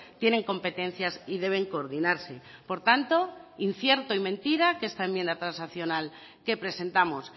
tienen competencias y deben coordinarse por tanto incierto y mentira que esta enmienda transaccional que presentamos